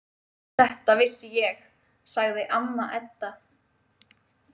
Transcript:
Þetta vissi ég, sagði amma Edda.